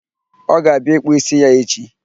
Ọ ga-abịa ịkpụ ísí ya echi.